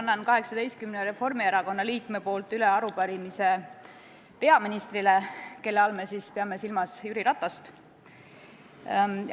Ma annan 18 Reformierakonna liikme nimel üle arupärimise peaministrile, kelle all me peame silmas Jüri Ratast.